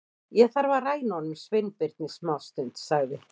Ég þarf að ræna honum Sveinbirni smástund- sagði